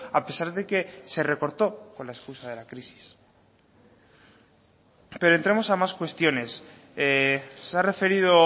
a pesar de que se recortó con la excusa de la crisis pero entremos a más cuestiones se ha referido